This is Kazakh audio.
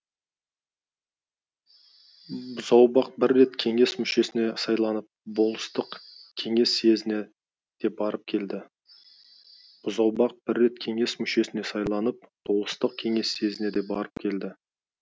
бұзаубақ бір рет кеңес мүшесіне сайланып болыстық кеңес съезіне де барып келді бұзаубақ бір рет кеңес мүшесіне сайланып болыстық кеңес съезіне де барып келді